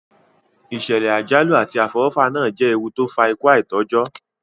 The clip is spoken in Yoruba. Ìsẹ̀lẹ̀ àjálù àti àfọwọ́fà náà je ewu to n fa ikú aitọ́jọ́